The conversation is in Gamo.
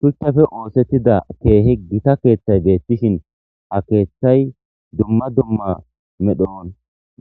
shuchchafe oosettida keehi gita keeththay beettishin ha keeththay dumma dumma medhon